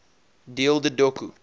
deel de doku